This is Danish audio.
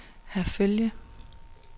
Herfølge